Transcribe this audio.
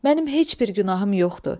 Mənim heç bir günahım yoxdur.